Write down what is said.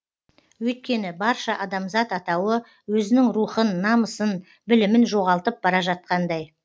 өйткені барша адамзат атауы өзінің рухын намысын білімін жоғалтып бара жатқандай